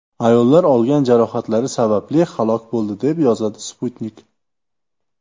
Ayollar olgan jarohatlari sababli halok bo‘ldi, deb yozadi Sputnik.